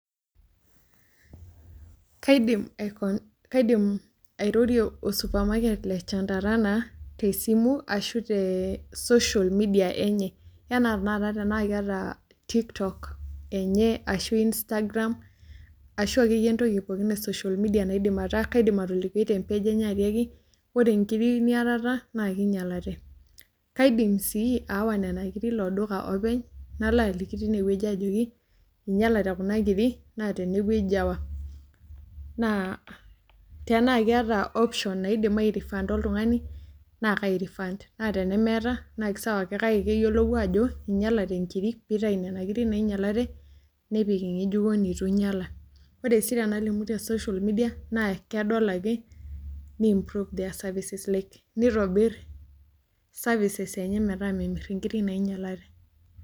Kaidim Kaidim airorie osupamarket le Chandarana te simu ashu te social media enye. Anaa tanakataa tena keeta tiktok enye ashu Instagram ashu entoki akeyie pookin ee social media naidim ataa. Kaidim atolikie e  page ojoki ore nkiri niyatata na kenyalate. Kaidim sii awaa nena kirik iloduka openy nalo aliki tineweji ajoki inyalate kunakirik naa teneweji awaa. Naa tena ketaa option naidim airefanda oltung'ani naa kai refund. Naa tenemeeta na kisawa , kake keyiolou ajo inyalate nkirik pitayu nena kirik nainyalate nemipik ing'ejuko neitu inyala. Ore sii tenalimu te social media naa kedol ake ne improve their services like nitobir services enye meeta memir inkiri nainyalate.